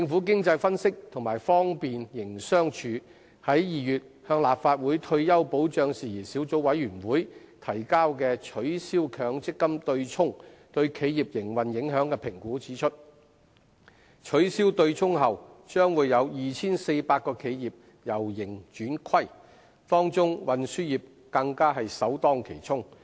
經濟分析及方便營商處於2月向立法會退休保障事宜小組委員會提交"取消強積金'對沖'對企業營運影響的評估"文件指出，取消對沖後將有 2,400 間企業由盈轉虧，當中運輸業更首當其衝。